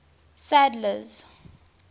sadler's